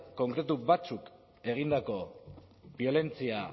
konkretu batzuek egindako biolentzia